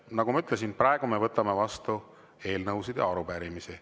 Nagu ma ütlesin, praegu me võtame vastu eelnõusid ja arupärimisi.